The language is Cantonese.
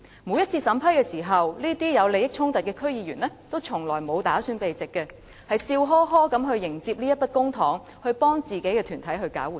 每次審批時，這些有利益衝突的區議員從來不打算避席，而是笑呵呵地迎接這筆公帑，用作為自己的團體搞活動。